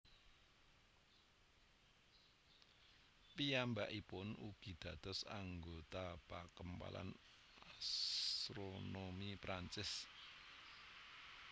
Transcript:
Piyambakipun ugi dados anggota Pakempalan Asronomi Perancis